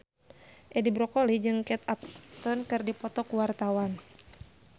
Edi Brokoli jeung Kate Upton keur dipoto ku wartawan